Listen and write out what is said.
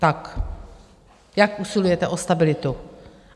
Tak jak usilujete o stabilitu?